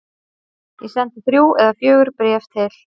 Ég sendi þrjú eða fjögur bréf til